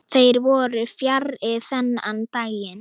Þeir voru fjarri þennan daginn.